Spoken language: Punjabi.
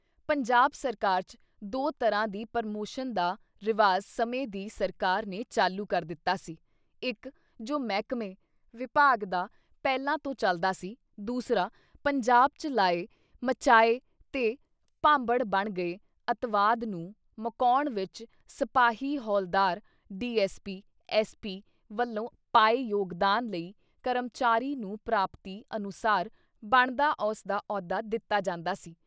ਪੰਜਾਬ ਸਰਕਾਰ ਚ ਦੋ ਤਰ੍ਹਾਂ ਦੀ ਪਰਮੋਸ਼ਨ ਦਾ ਰਿਵਾਜ਼ ਸਮੇਂ ਦੀ ਸਰਕਾਰ ਨੇ ਚਾਲੂ ਕਰ ਦਿੱਤਾ ਸੀ- ਇੱਕ ਜੋ ਮਹਿਕਮੇ (ਵਿਭਾਗ) ਦਾ ਪਹਿਲਾਂ ਤੋਂ ਚਲਦਾ ਸੀ, ਦੂਸਰਾ ਪੰਜਾਬ ‘ਚ ਲਾਏ, ਮਚਾਏ ਤੇ ਭਾਂਬੜ ਬਣ ਗਏ ਅਤਿਵਾਦ ਨੂੰ ਮੁਕਾਉਣ ਵਿੱਚ ਸਿਪਾਹੀ ਹੌਲਦਾਰ, ਡੀ.ਐਸ. ਪੀ. ਐਸ. ਪੀ. ਵੱਲੋਂ ਪਾਏ .ਯੋਗਦਾਨ ਲਈ ਕਰਮਚਾਰੀ ਨੂੰ ਪ੍ਰਾਪਤੀ ਅਨੁਸਾਰ ਬਣਦਾ ਉਸਦਾ ਅਹੁਦਾ ਦਿੱਤਾ ਜਾਂਦਾ ਸੀ।